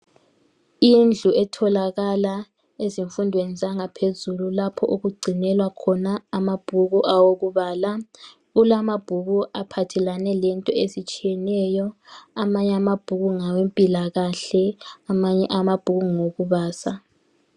Indlu etholakala ezifundweni zangaphezulu, lapho okugcinelwa khona amabhuku, awokubala. Kulamabhuku aphathelene lezinto ezitshiyeneyo. Amanye amabhuku ngawempilakahle. Amanye amabhuku ngawokubaza.